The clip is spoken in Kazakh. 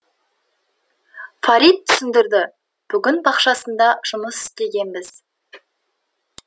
фарит түсіндірді бүгін бақшасында жұмыс істегенбіз